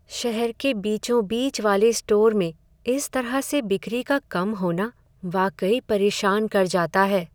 शहर के बीचों बीच वाले स्टोर में इस तरह से बिक्री का कम होना वाकई परेशान कर जाता है।